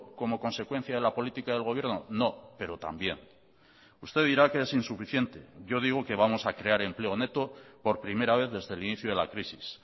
como consecuencia de la política del gobierno no pero también usted dirá que es insuficiente yo digo que vamos a crear empleo neto por primera vez desde el inicio de la crisis